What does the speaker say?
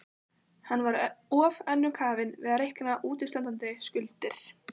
Hann var of önnum kafinn við að reikna útistandandi skuldir.